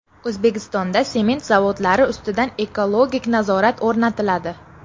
O‘zbekistonda sement zavodlari ustidan ekologik nazorat o‘rnatiladi.